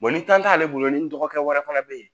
ni tan t'ale bolo ni dɔgɔkɛ wɛrɛ fana bɛ yen